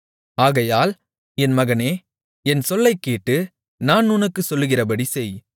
ஆகையால் என் மகனே என் சொல்லைக் கேட்டு நான் உனக்குச் சொல்கிறபடி செய்